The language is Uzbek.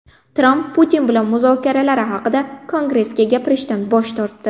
Tramp Putin bilan muzokaralari haqida Kongressga gapirishdan bosh tortdi.